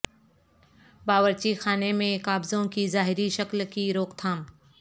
باورچی خانے میں قابضوں کی ظاہری شکل کی روک تھام